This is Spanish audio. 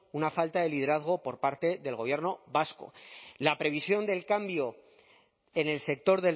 una falta de liderazgo por parte del gobierno vasco la previsión del cambio en el sector